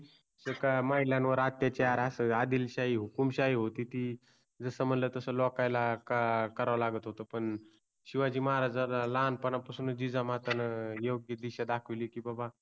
का महिलांवर अत्याचार अस आदिलशाहि हुकूमशाही होति ति. जस मणला तस लोकाला का कराव लागत होत पण शिवाजि महाराजाना लहानपणापासुनच जिजामातान योग्य दिशा दाखवलि कि बाबा